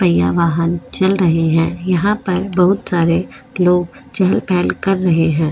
पहिया वाहन चल रहे हैं यहा पर बहुत सारे लोग चहल पहल कर रहे है।